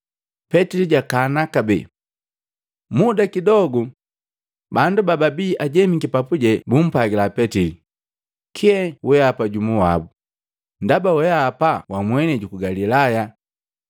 Petili jakana kabee. Muda kidogu, bandu bababii ajemiki papuje bumpwagila Petili, “Kee wehapa jumu wabu, ndaba weapa wa mwenei juku Galilaya.”